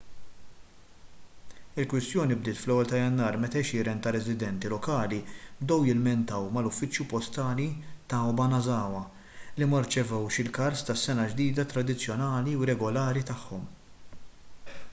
il-kwistjoni bdiet fl-1 ta' jannar meta għexieren ta' residenti lokali bdew jilmentaw mal-uffiċċju postali ta' obanazawa li ma rċevewx il-kards tas-sena l-ġdida tradizzjonali u regolari tagħhom